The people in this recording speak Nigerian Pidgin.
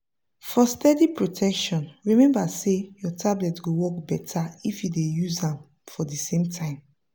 for steady protection remember say your tablet go work beter if you dey use am for the same time.